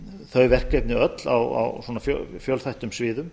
þau verkefni öll á svona fjölþættum sviðum